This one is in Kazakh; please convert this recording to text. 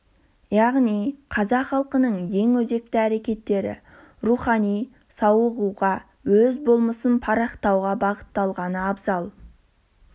яғни қазақ халқының ең өзекті әрекеттері рухани сауығуға өз болмысын парықтауға бағытталғаны абзал